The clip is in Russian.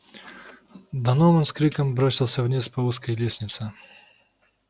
донован с криком бросился вниз по узкой лестнице